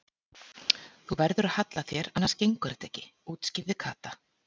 Þú verður að halla þér annars gengur þetta ekki útskýrði Kata.